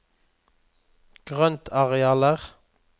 grøntarealer